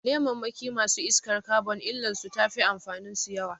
Lemammakin masu iskar kabon illar su tafi amfanin su yawa